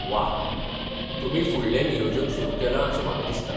वा, तुमी फुडलें नियोजन सुरु केलां अशें म्हाका दिसता.